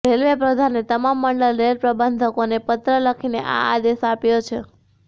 railway પ્રધાને તમામ મંડલ રેલ પ્રબંધકોને પત્ર લખીને આ આદેશ આપ્યો છે